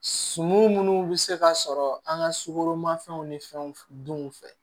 Sumanw minnu bɛ se ka sɔrɔ an ka sukoromafɛnw ni fɛnw dun fɛ